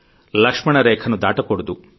లక్ష్మణరేఖను దాటకూడదు